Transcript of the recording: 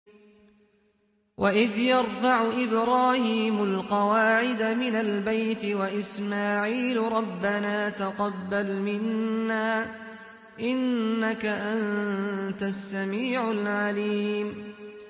وَإِذْ يَرْفَعُ إِبْرَاهِيمُ الْقَوَاعِدَ مِنَ الْبَيْتِ وَإِسْمَاعِيلُ رَبَّنَا تَقَبَّلْ مِنَّا ۖ إِنَّكَ أَنتَ السَّمِيعُ الْعَلِيمُ